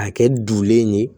A kɛ dulen ye